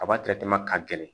A b'a ka gɛrɛ